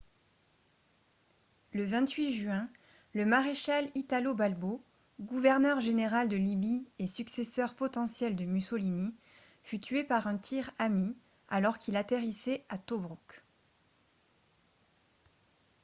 le 28 juin le maréchal italo balbo gouverneur général de libye et successeur potentiel de mussolini fut tué par un tir ami alors qu'il atterrissait à tobrouk